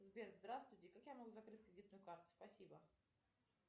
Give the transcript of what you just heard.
сбер здравствуйте как я могу закрыть кредитную карту спасибо